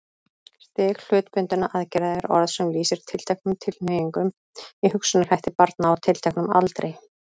Stig hlutbundinna aðgerða er orð sem lýsir tilteknum tilhneigingum í hugsunarhætti barna á tilteknum aldri.